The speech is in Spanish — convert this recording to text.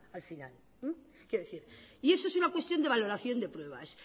al final y eso es una cuestión de valoración de pruebas